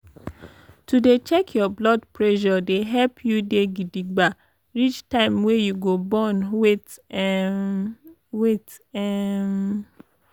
to dey check your blood pressure dey help you dey gidigba reach time wey you go born wait emmm wait emmm